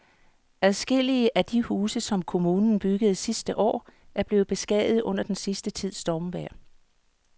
Adskillige af de huse, som kommunen byggede sidste år, er blevet beskadiget under den sidste tids stormvejr.